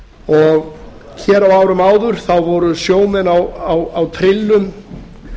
og hér á árum áður voru sjómenn á trillum